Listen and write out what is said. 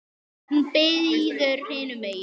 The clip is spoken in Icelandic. Hún bíður hinum megin.